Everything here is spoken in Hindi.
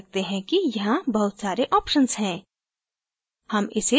आप देख सकते हैं कि यहाँ बहुत सारे options हैं